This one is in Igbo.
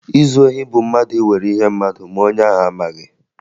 Izu ohi bụ mmadụ iwere ihe mmadụ ma onye ahụ amaghị